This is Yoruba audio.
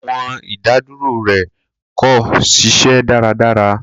Awọn idaduro rẹ ko ṣiṣẹ daradara